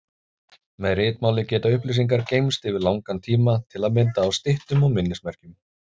Með ritmáli geta upplýsingar geymst yfir langan tíma, til að mynda á styttum og minnismerkjum.